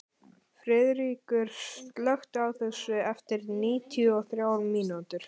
Friðríkur, slökktu á þessu eftir níutíu og þrjár mínútur.